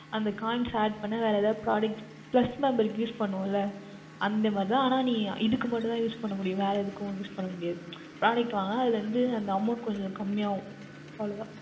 அந்த Coins Add பண்ற வரைக்கும் எதாவுது ProductPlus member க்கு Use பண்ணுவோம் ல அந்த மாதிரி மட்டும் தான் ஆனால் இதற்கு மட்டும் தான் Use பண்ண முடியும் வேர் எதுக்கும் Use பண்ணமுடியாது Product வாங்கினால் அந்த Amount கொஞ்சம் கம்மியாகும் அவ்வளவு தான்